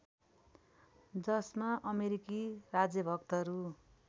जसमा अमेरिकी राजभक्तहरू